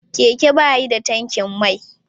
Keke ba yi da tankin mai.